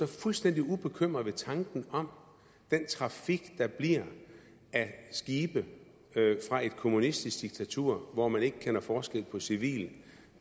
fuldstændig ubekymret ved tanken om den trafik der bliver af skibe fra et kommunistisk diktatur hvor man ikke kender forskel på civilt